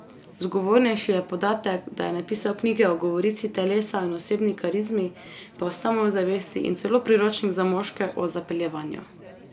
Zgovornejši je podatek, da je napisal knjige o govorici telesa in osebni karizmi, pa o samozavesti in celo priročnik za moške o zapeljevanju.